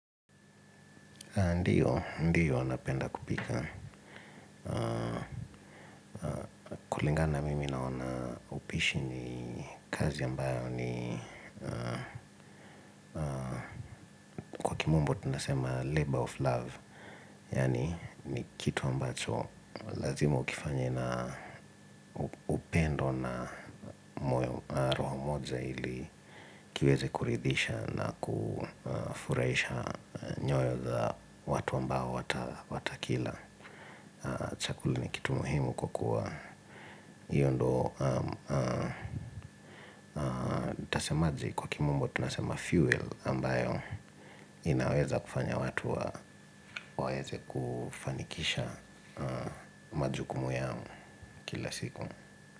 Ndiyo, ndiyo napenda kupika. Kulingana na mimi naona upishi ni kazi ambayo ni kwa kimombo tunasema labor of love. Yaani ni kitu ambacho lazima ukifanye na upendo na moyo roho moja ili kiweze kuridhisha na kufurahisha nyoyo za watu ambao watakila chakula ni kitu muhimu kwa kuwa hiyo ndo nitasemaje kwa kimambo tunasema fuel ambayo inaweza kufanya watu wa waeze kufanikisha majukumu yao kila siku.